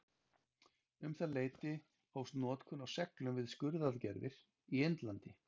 Um það leyti hófst notkun á seglum við skurðaðgerðir í Indlandi.